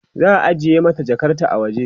za'a ajiye mata Jakarta a waje